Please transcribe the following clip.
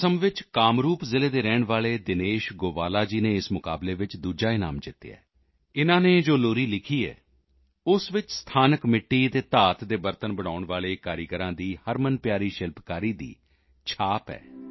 ਅਸਮ ਵਿੱਚ ਕਾਮਰੂਪ ਜ਼ਿਲ੍ਹੇ ਦੇ ਰਹਿਣ ਵਾਲੇ ਦਿਨੇਸ਼ ਗੋਵਾਲਾ ਜੀ ਨੇ ਇਸ ਮੁਕਾਬਲੇ ਵਿੱਚ ਦੂਸਰਾ ਇਨਾਮ ਜਿੱਤਿਆ ਹੈ ਇਨ੍ਹਾਂ ਨੇ ਜੋ ਲੋਰੀ ਲਿਖੀ ਹੈ ਉਸ ਵਿੱਚ ਸਥਾਨਕ ਮਿੱਟੀ ਅਤੇ ਧਾਤ ਦੇ ਬਰਤਨ ਬਣਾਉਣ ਵਾਲੇ ਕਾਰੀਗਰਾਂ ਦੀ ਹਰਮਨਪਿਆਰੀ ਸ਼ਿਲਪਕਾਰੀ ਦੀ ਛਾਪ ਹੈ